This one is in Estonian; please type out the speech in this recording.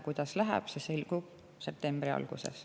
Kuidas läheb, see selgub septembri alguses.